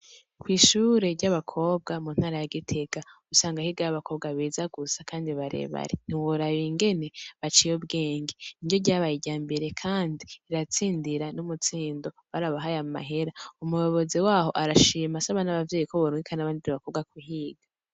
Kwishure ry' abakobwa mu ntara ya Gitega usanga higayo abakobwa beza gusa kandi bare are ntiworaba ingene baciye ubwenge nibo babaye abambere kandi riratsindira n' ubutsindo barabahaye n' amahera umuyobozi wabo arashima asaba n' abavyeyi ko borungika n' abandi bakobwa kuhiga.